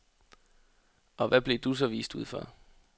Og hvad blev du så vist ud for?